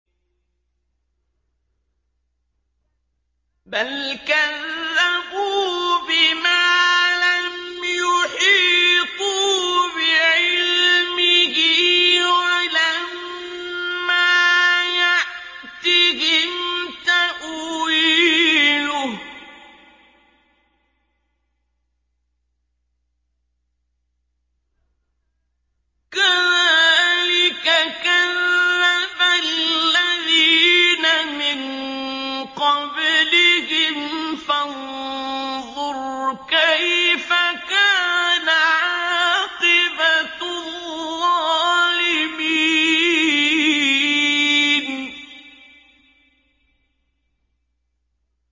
بَلْ كَذَّبُوا بِمَا لَمْ يُحِيطُوا بِعِلْمِهِ وَلَمَّا يَأْتِهِمْ تَأْوِيلُهُ ۚ كَذَٰلِكَ كَذَّبَ الَّذِينَ مِن قَبْلِهِمْ ۖ فَانظُرْ كَيْفَ كَانَ عَاقِبَةُ الظَّالِمِينَ